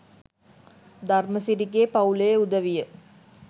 ධර්මසිරිගේ පවු‍ලේ උදවිය